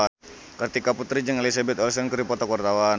Kartika Putri jeung Elizabeth Olsen keur dipoto ku wartawan